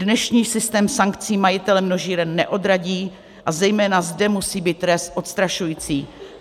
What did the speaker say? Dnešní systém sankcí majitele množíren neodradí a zejména zde musí být trest odstrašující.